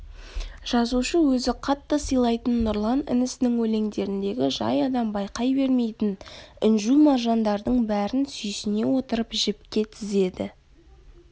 жазушы өзі қатты сыйлайтын нұрлан інісінің өлендеріндегі жай адам байқай бермейтін інжу-маржандардың бәрін сүйсіне отырып жіпке тізеді